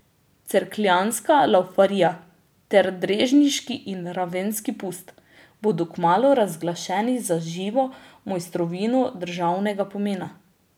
Cerkljanska laufarija ter Drežniški in Ravenski pust bodo kmalu razglašeni za živo mojstrovino državnega pomena.